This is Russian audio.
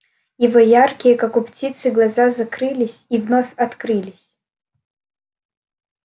его яркие как у птицы глаза закрылись и вновь открылись